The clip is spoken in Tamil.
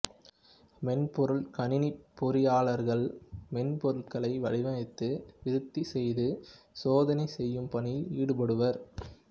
மென்பொருட் கணினிப் பொறியியலாளர்கள் மென்பொருட்களை வடிவமைத்து விருத்தி செய்து சோதனை செய்யும் பணியில் ஈடுபடுவர்